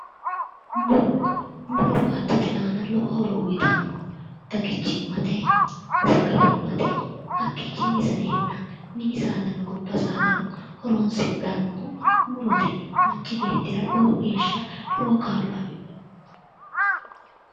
Muro, muro baattote aana lowo horo uyittano xaggichimate, sagalichimate, hakkichini saenna minino gobba saadano horonsidhanohu murote yineemmo, lowo geeshsha lowo kaa'lo afidhino.